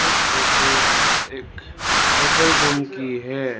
Photo एक hotel room की है।